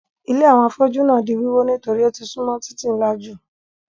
Ilé àwọn afọ́jú náà di wíwó nítorí ó ti súnmọ́ títì ńlá jù.